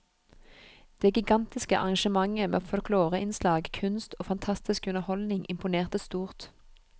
Det gigantiske arrangementet med folkloreinnslag, kunst og fantastisk underholdning imponerte stort.